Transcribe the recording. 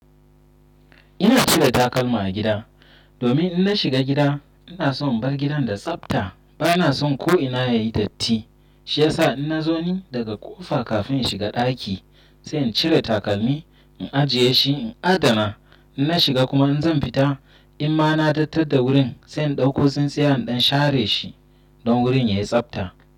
Ina cire takalma a gida. Domin in na shiga gida ina son in bar gidan da tsafta. Bana son ko ina yayi datti. Shi yasa in na zauni daga ƙofa kafin in shiga ɗaki sai in cire takalmi, in ajiye shi, in adana. In na shiga kuma in zan fita, in ma na datattan da wurin, sai in ɗauko tsintsiya in dan share shi don wurin yayi tsabta.